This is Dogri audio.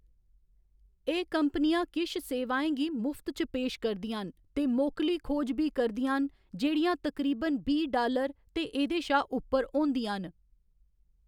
एह्‌‌ कंपनियाँ किश सेवाएं गी मुफ्त च पेश करदियां न ते मोकली खोज बी करदियां न जेह्‌‌ड़ियां तकरीबन बीह्‌ डालर ते एह्‌दे शा उप्पर होंदियां न।